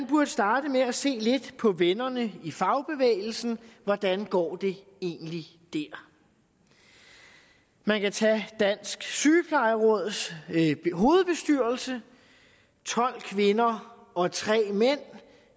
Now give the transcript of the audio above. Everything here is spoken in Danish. burde starte med at se lidt på vennerne i fagbevægelsen hvordan går det egentlig der man kan tage dansk sygeplejeråds hovedbestyrelse tolv kvinder og tre mænd